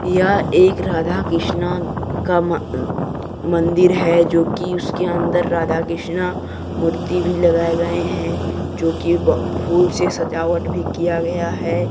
यह एक राधा कृष्ण का मंदिर है जो कि उसके अंदर राधा कृष्ण मूर्ति भी लगाए गए हैं जो की फूल से सजावट भी किया गया है।